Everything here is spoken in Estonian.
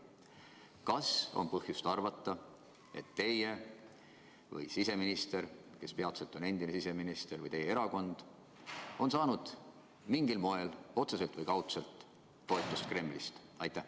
Kas on põhjust arvata, et teie või siseminister, kes peatselt on endine siseminister, või teie erakond on saanud mingil moel, otseselt või kaudselt, toetust Kremlist?